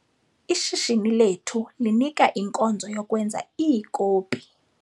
Ishishini lethu linika inkonzo yokwenza iikopi .